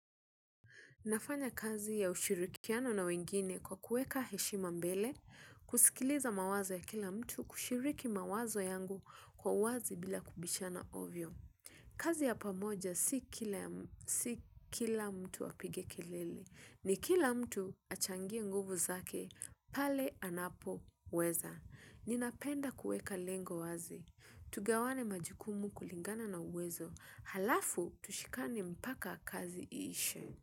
Nafanya kazi ya ushirikiano na wengine kwa kuweka heshima mbele, kusikiliza mawazo ya kila mtu kushiriki mawazo yangu kwa wazi bila kubishana ovyo. Kazi ya pamoja si kila mtu apige kelele, ni kila mtu achangie nguvu zake pale anapoweza. Ninapenda kuweka lengo wazi, tugawane majukumu kulingana na uwezo, alafu tushikane mpaka kazi iishe.